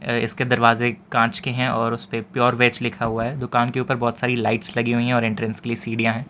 इसके दरवाजे कांच के हैं और उसपे प्योर वेज लिखा हुआ है दुकान के ऊपर बहोत सारी लाइट्स लगी हुई हैं और एंट्रेंस के लिए सीढ़ियां हैं।